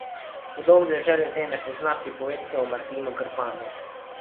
Kdo v deželi tej ne pozna pripovedke o Martinu Krpanu?